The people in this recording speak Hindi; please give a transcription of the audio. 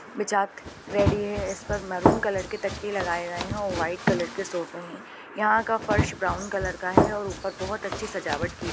बिचात रेडी है इस पर मेहरून कलर के ताकिए लगाएं गए हैं और व्हाइट कलर के सोफे हैं यहाँ का फर्श ब्राउन कलर का है और ऊपर बहुत अच्छी सजावट की--